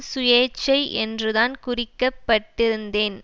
சுயேச்சை என்றுதான் குறிக்கப்பட்டிருந்தேன்